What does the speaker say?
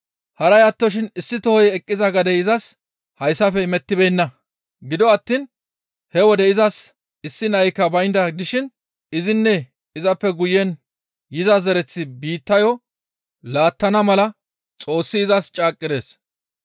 Haray attoshin issi tohoy eqqiza gadey izas hayssafe imettibeenna; gido attiin he wode izas issi naykka baynda dishin izinne izappe guyen iza zereththi biittayo laattana mala Xoossi izas caaqqides.